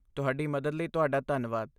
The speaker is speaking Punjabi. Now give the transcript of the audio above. ਤੁਹਾਡੀ ਮਦਦ ਲਈ ਤੁਹਾਡਾ ਧੰਨਵਾਦ।